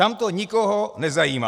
Tam to nikoho nezajímá.